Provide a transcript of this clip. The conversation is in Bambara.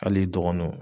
Hali dɔgɔnɔw